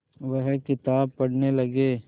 वह किताब पढ़ने लगे